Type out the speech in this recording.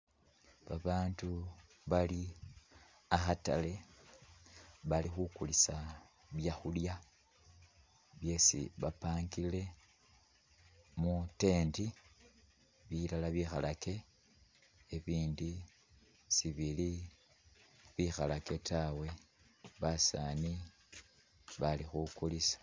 Babaandu bali akhatale bali khukulisa byakhulya byesi bapangile mu tent, bilala bikhalake, bibindi sibili bikhalake tawe, basaani bali khukulisa.